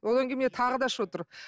одан кейін міне тағы да шығып отыр